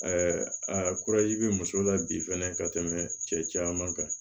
a bɛ muso la bi fɛnɛ ka tɛmɛ cɛ caman kan